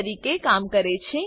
તરીકે કામ કરે છે